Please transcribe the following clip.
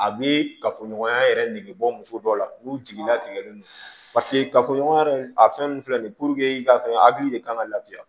A bɛ kafoɲɔgɔnya yɛrɛ nege bɔ muso dɔ la n'u jigi latigɛlen don paseke kafoɲɔgɔnya yɛrɛ a fɛn nun filɛ nin ye i ka fɛn hakili de kan ka lafiya